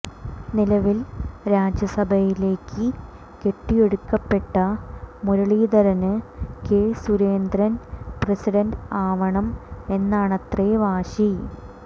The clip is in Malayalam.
നിലവിൽ രാജ്യ സഭയിലേക്കു കെട്ടിയെടുക്കപ്പെട്ട മുരളീധരന് കെ സുരേന്ദ്രൻ പ്രസിഡന്റ് ആവണം എന്നാണത്രെ വാശി